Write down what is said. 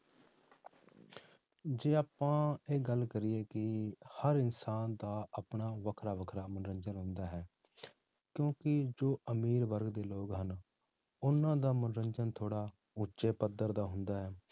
ਜੇ ਆਪਾਂ ਇਹ ਗੱਲ ਕਰੀਏ ਕਿ ਹਰ ਇਨਸਾਨ ਦਾ ਆਪਣਾ ਵੱਖਰਾ ਵੱਖਰਾ ਮਨੋਰੰਜਨ ਹੁੰਦਾ ਹੈ ਕਿਉਂਕਿ ਜੋ ਅਮੀਰ ਵਰਗ ਦੇ ਲੋਕ ਹਨ, ਉਹਨਾਂ ਦਾ ਮਨੋਰੰਜਨ ਥੋੜ੍ਹਾ ਉੱਚੇ ਪੱਧਰ ਦਾ ਹੁੰਦਾ ਹੈ